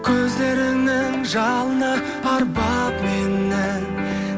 көздеріңнің жалыны арбап мені